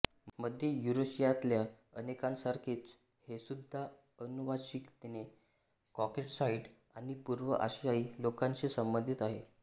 मध्य युरेशियातल्या अनेकांसारखेच हेसुद्धा अनुवांशिकतेने कॉकॅसॉईड आणि पूर्व आशियाई लोकांशी संबंधित आहेत